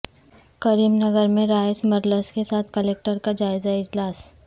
کریم نگر میں rice millers کے ساتھ کلکٹر کا جائزہ اجلاس